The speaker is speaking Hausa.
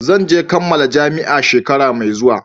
Zan kammala jami'a a shekara mai zuwa